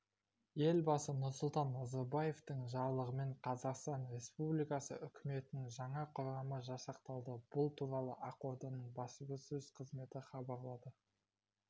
елбасы нұрсұлтан назарбаевтың жарлығымен қазақстан республикасы үкіметінің жаңа құрамы жасақталды бұл туралы ақорданың баспасөз қызметі хабарлады